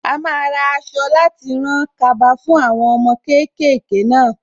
A máa ra aṣọ láti rán kaba fún àwọn ọmọ kéékèèké náà.